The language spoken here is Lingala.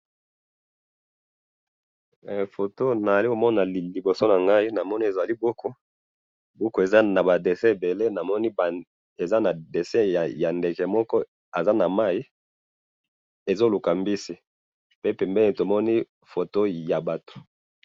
photo nazali komona liboso nangai, namoni ezali buku, buku eza naba dessins ebele namoni eza na dessin ya ndeke moko aza na mayi ezoluka mbisi, pe pembeni tomoni dessin ya batu